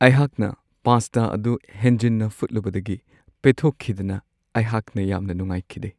ꯑꯩꯍꯥꯛꯅ ꯄꯥꯁꯇꯥ ꯑꯗꯨ ꯍꯦꯟꯖꯤꯟꯅ ꯐꯨꯠꯂꯨꯕꯗꯒꯤ ꯄꯦꯠꯊꯣꯛꯈꯤꯗꯅ ꯑꯩꯍꯥꯛꯅ ꯌꯥꯝꯅ ꯅꯨꯡꯉꯥꯏꯈꯤꯗꯦ ꯫